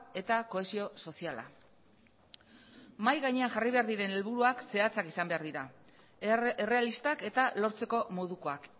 eta kohesio soziala mahai gainean jarri behar diren helburuak zehatzak izan behar dira errealistak eta lortzeko modukoak